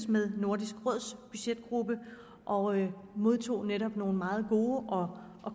med nordisk råds budgetgruppe og modtog netop nogle meget gode og